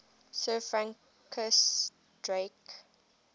sir francis drake